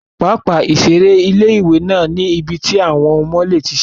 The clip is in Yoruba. Pápá ìseré ilé-ìwé náà ní ibi tí àwọn ọmọ lè ti seré